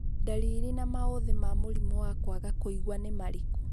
Ndariri na maũthĩ ma mũrimũ wa kwaga kũigua nĩ marĩkũ ?